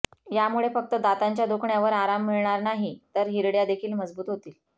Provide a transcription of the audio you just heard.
यामुळे फक्त दातांच्या दुखण्यावर आराम मिळणार नाही तर हिरड्या देखील मजबूत होतील